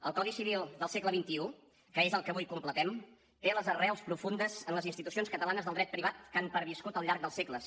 el codi civil del segle xxi que és el que avui completem té les arrels profundes en les institucions catalanes del dret privat que han perviscut al llarg dels segles